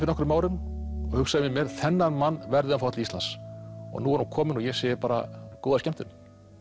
nokkrum árum og hugsaði með mér þennan mann verð ég að fá til Íslands og nú er hann kominn og ég segi bara góða skemmtun